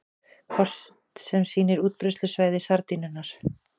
Kort sem sýnir útbreiðslusvæði sardínunnar.